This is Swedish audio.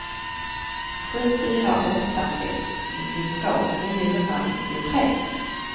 sju fyra åtta sex nittiotvå niohundranittiotre